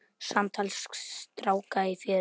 Samtal stráka í fjöru